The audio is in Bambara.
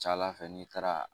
Ca Ala fɛ n'i taara